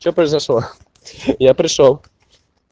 что произошло я пришёл